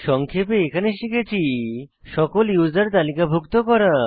সংক্ষেপে এখানে শিখেছি সকল ইউসার তালিকাভুক্ত করা